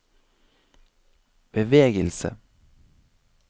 bevegelse